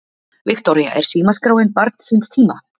Viktoría: Er símaskráin barn síns tíma?